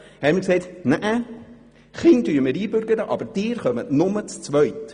«Wir bürgern die Kinder ein, aber Sie nur zu zweit.